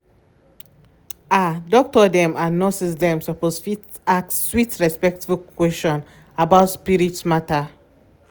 ah doctor dem and nurse dem suppose fit ask sweet respectful question about spirit matter